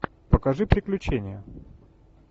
покажи приключения